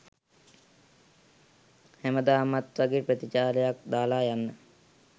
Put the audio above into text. හැමදාමත් වගේ ප්‍රතිචාරයක් දාලා යන්න